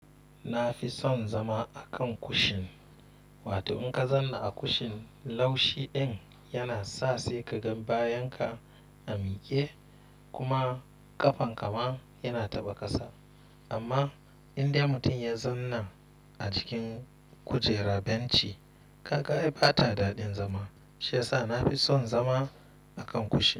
Na fi son zama a kan kushin, watan in ka zanna a kushin laushi in yana sa sai ka gan bayan ka a miƙe kuma ƙafan ka ma yana taɓa ƙasa. Amma in dai mutum ya zanna a cikin kujerar benci, gaga'i bata daɗin zama shiyasa na fi son zama a kan kushin.